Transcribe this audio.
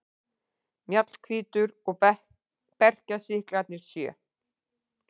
Mjallhvítur og berklasýklarnir sjö.